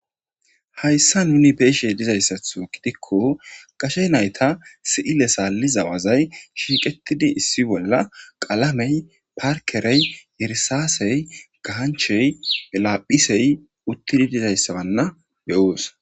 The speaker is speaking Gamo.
Hayssa nuni beyishe dizayssaththo gidikko qase nayta si'ile saalliza wazay shiiqetidi issi bolla qalamey parkerey irisaasey ganchey laaphisey uttidi dizayssa beyoos